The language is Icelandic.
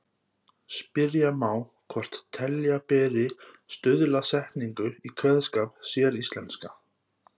Spyrja má hvort telja beri stuðlasetningu í kveðskap séríslenska.